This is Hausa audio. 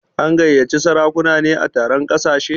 An gayyaci sarakuna ne a taron ƙasashe?